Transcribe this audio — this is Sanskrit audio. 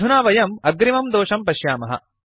अधुना वयम् अग्रिमं दोषं पश्यामः